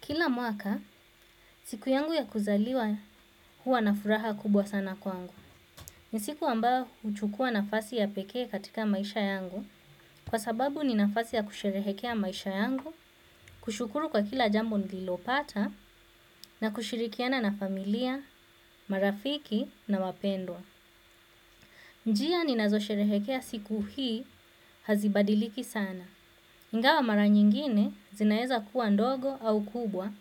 Kila mwaka siku yangu ya kuzaliwa huwa na furaha kubwa sana kwangu. Ni siku ambayo huchukua nafasi ya peke katika maisha yangu, kwa sababu ni nafasi ya kusherehekea maisha yangu, kushukuru kwa kila jambo nililopata na kushirikiana na familia, marafiki na wapendwa. Njia ninazosherekea siku hii hazibadiliki sana. Ingawa mara nyingine zinaeza kuwa ndogo au kubwa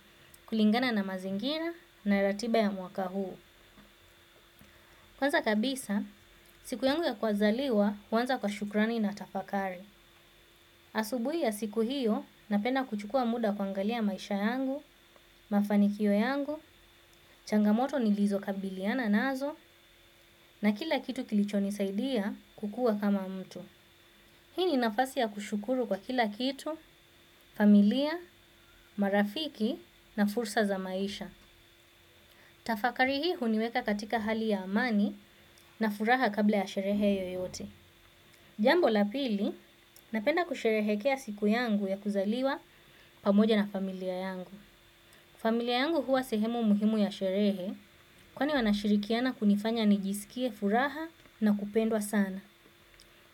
kulingana na mazingira na ratiba ya mwaka huu. Kwanza kabisa, siku yangu ya kuzaliwa huanza kwa shukrani na tafakari. Asubuhi ya siku hiyo napenda kuchukua muda kuangalia maisha yangu, mafanikio yangu, changamoto nilizo kabiliana nazo na kila kitu kilicho nisaidia kukua kama mtu. Hii ni nafasi ya kushukuru kwa kila kitu, familia, marafiki na fursa za maisha. Tafakari hii huniweka katika hali ya amani na furaha kabla ya sherehe yoyote. Jambo la pili, napenda kusherehekea siku yangu ya kuzaliwa pamoja na familia yangu. Familia yangu huwa sehemu muhimu ya sherehe, kwa ni wanashirikiana kunifanya nijisikie furaha na kupendwa sana.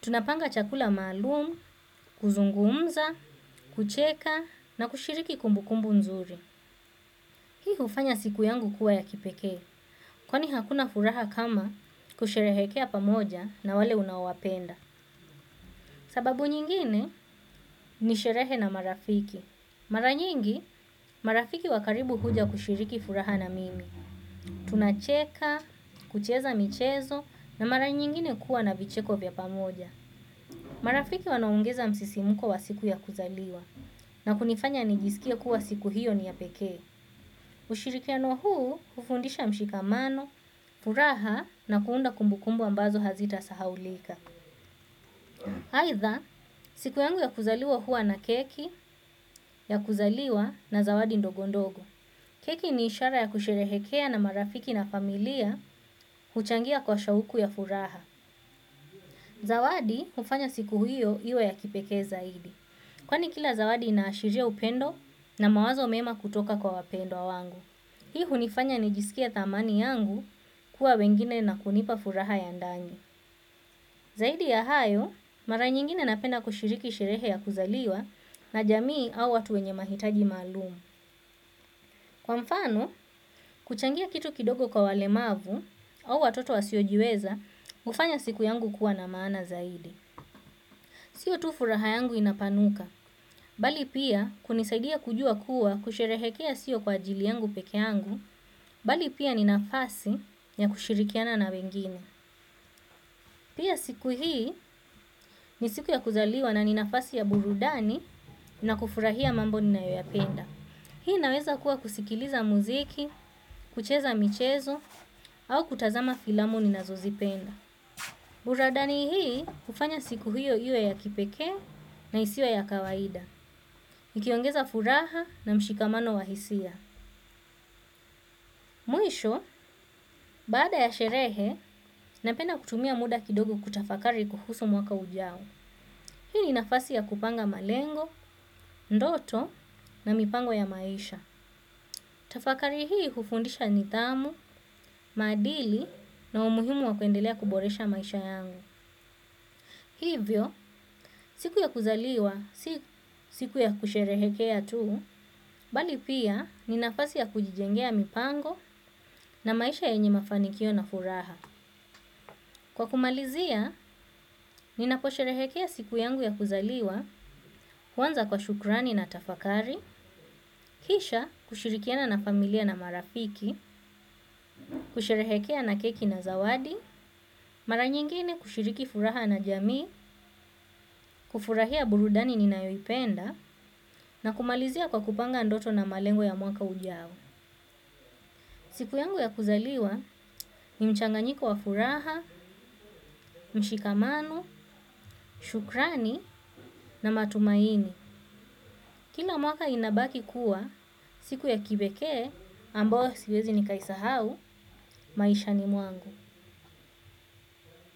Tunapanga chakula maalumu, kuzungumza, kucheka na kushiriki kumbu kumbu nzuri. Hii hufanya siku yangu kuwa ya kipekee kwani hakuna furaha kama kusherehekea pamoja na wale unaowapenda. Sababu nyingine ni sherehe na marafiki. Maranyingi, marafiki wa karibu huja kushiriki furaha na mimi. Tunacheka, kucheza michezo na mara nyingine kuwa na vicheko vya pamoja. Marafiki wanaongeza msisimuko wa siku ya kuzaliwa na kunifanya nijisikie kuwa siku hiyo ni ya pekee. Ushirikiano huu hufundisha mshikamano, furaha na kuunda kumbukumbu ambazo hazita sahau lika. Aidha, siku yangu ya kuzaliwa huwa na keki, ya kuzaliwa na zawadi ndogondogo. Keki ni ishara ya kusherehekea na marafiki na familia huchangia kwa shauku ya furaha. Zawadi hufanya siku hiyo iwe ya kipekee zaidi. Kwani kila zawadi inashiria upendo na mawazo mema kutoka kwa wapendwa wangu. Hii hunifanya nijisikie thamani yangu kuwa wengine na kunipa furaha ya ndani. Zaidi ya hayo, mara nyingine napenda kushiriki sherehe ya kuzaliwa na jamii au watu wenye mahitaji malumu. Kwa mfano, kuchangia kitu kidogo kwa wale mavu au watoto wasiojiweza, hufanya siku yangu kuwa na maana zaidi. Sio tu furaha yangu inapanuka, bali pia kunisaidia kujua kuwa kusherehekea sio kwa ajili yangu peke yangu, bali pia ni nafasi ya kushirikiana na wengine. Pia siku hii ni siku ya kuzaliwa na ni nafasi ya burudani na kufurahia mambo ni na yoyapenda. Hii naweza kuwa kusikiliza muziki, kucheza michezo, au kutazama filamu ni na zozipenda. Burudani hii hufanya siku hiyo iwe ya kipekee na isiwe ya kawaida. Ukiongeza furaha na mshikamano wahisia. Mwisho, baada ya sherehe, napenda kutumia muda kidogo kutafakari kuhusu mwaka ujao. Hii ni nafasi ya kupanga malengo, ndoto na mipango ya maisha. Tafakari hii hufundisha nidhamu, maadili na umuhimu wa kuendelea kuboresha maisha yangu. Hivyo, siku ya kuzaliwa, si siku ya kusherehekea tu, bali pia ni nafasi ya kujijengea mipango na maisha yenye mafanikio na furaha. Kwa kumalizia, nina posherehekea siku yangu ya kuzaliwa, kwanza kwa shukrani na tafakari, kisha kushirikiana na familia na marafiki, kusherehekea na keki na zawadi, mara nyingine kushiriki furaha na jamii, kufurahia burudani ninayoipenda, na kumalizia kwa kupanga ndoto na malengo ya mwaka ujao. Siku yangu ya kuzaliwa, ni mchanganyiko wa furaha, mshikamano, shukrani na matumaini. Kila mwaka inabaki kuwa, siku ya kipekee, ambayo siwezi nikaisahau, maisha ni mwangu.